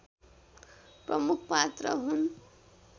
प्रमुख पात्र हुन्